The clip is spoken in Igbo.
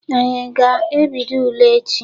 Anyị aga ebido ule echi?